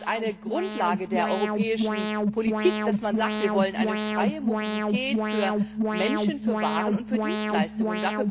Es ist eine Grundlage der europäischen Politik, dass man sagt Wir wollen eine freie Mobilität für Menschen, für Waren und für Dienstleistungen.